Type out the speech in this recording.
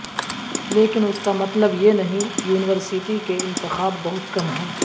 لیکن اس کا مطلب یہ نہیں یونیورسٹی کے انتخاب بہت کم ہے